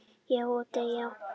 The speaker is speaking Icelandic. """Já, og deyja"""